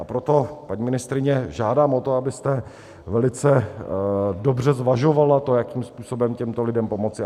A proto, paní ministryně, žádám o to, abyste velice dobře zvažovala to, jakým způsobem těmto lidem pomoci.